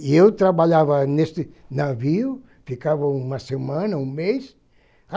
E eu trabalhava nesse navio, ficava uma semana, um mês.